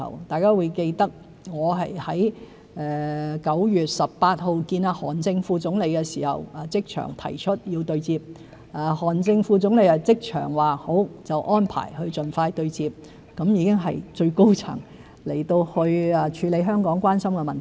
大家都記得我在9月18日與韓正副總理會面時即場提出對接要求，韓正副總理即場答允，安排盡快對接，已經是由最高層人員處理香港關心的問題。